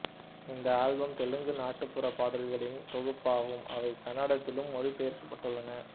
இந்த ஆல்பம் தெலுங்கு நாட்டுப்புற பாடல்களின் தொகுப்பாகும் அவை கன்னடத்திலும் மொழிபெயர்க்கப்பட்டுள்ளன